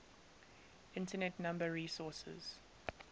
internet number resources